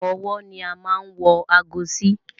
Ọrùn ọwọ́ ni a máa n wọ aago sí